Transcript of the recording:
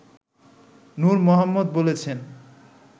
নূর মোহাম্মদ বলেছেন